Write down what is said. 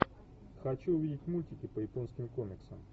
хочу увидеть мультики по японским комиксам